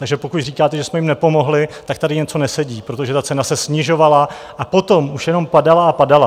Takže pokud říkáte, že jsme jim nepomohli, tak tady něco nesedí, protože ta cena se snižovala a potom už jenom padala a padala.